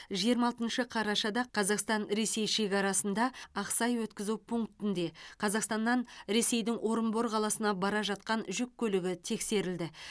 жиырма алтыншы қарашада қазақстан ресей шекарасында ақсай өткізу пунктінде қазақстаннан ресейдің орынбор қаласына бара жатқан жүк көлігі тексерілді